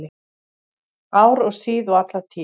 Ár og síð og alla tíð